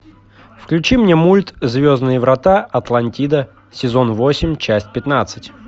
включи мне мульт звездные врата атлантида сезон восемь часть пятнадцать